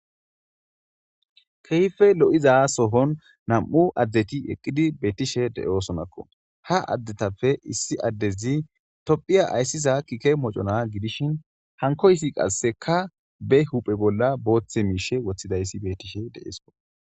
kehfe lo'za shon nam'u addeti eqqidi beetishe de'sonakko ha addetappe issi addezi tophiya ayssiza kike mocona gidishin hankoysi qasseka be huphe bolla booththe miishe woththidayssi betishe de'sko